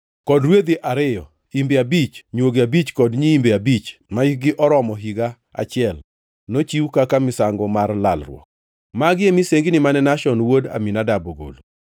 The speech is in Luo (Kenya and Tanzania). kod rwedhi ariyo, imbe abich, nywogi abich kod nyiimbe abich mahikgi oromo higa achiel, nochiw kaka misango mar lalruok. Magi e misengini mane Nashon wuod Aminadab ogolo.